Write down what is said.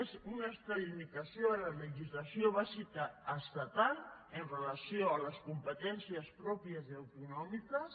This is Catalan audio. és una extralimitació de la legislació bàsica estatal amb relació a les competències pròpies i autonòmiques